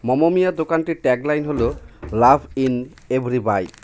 মমমিয়া দোকানটির ট্যাগলাইন হলো love in every bite .